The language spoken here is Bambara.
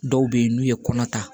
Dɔw bɛ yen n'u ye kɔnɔ ta